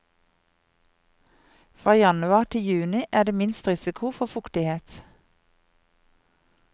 Fra januar til juni er det minst risiko for fuktighet.